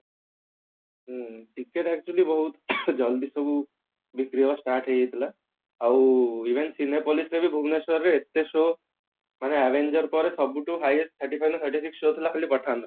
ହଁ ticket actually ବହୁତ ଜଲ୍ଦି ସବୁ ବିକ୍ରି ହେବା start ହେଇ ଯାଇଥିଲା ଆଉ even Cinepolis ରେ ବି ଭୁବନେଶ୍ବର ରେ ଏତେ show ମାନେ avenger ପର ସବୁଠୁ highest show ଥିଲା ଖାଲି pathan ର